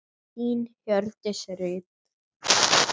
Þín, Hjördís Rut.